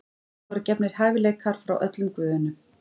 Henni voru gefnir hæfileikar frá öllum guðunum.